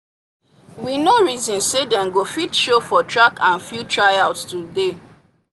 we no reason say dem go fit show for track and field tryouts today